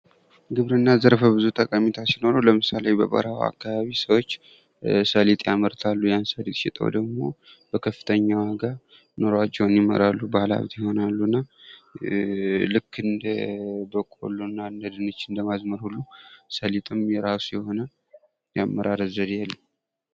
ግብርና ዘርፈብዙ ጠቀሜታ ሲኖረው ለምሳሌ በበረሃ አካባቢ ሰዎች ሰሊጥ ያመርታሉ። ያን ሰሊጥ ሽጠው ደግሞ በከፍተኛ ዋጋ ኑሯቸውን ይመራሉ። ባለሀብት ይሆናሉና ልክ እንደ በቆሎና እንደ ድንች እንደማዝመር ሁሉ ሰሊጥም የራሱ የሆነ የአመራረት ዘዴ አለው።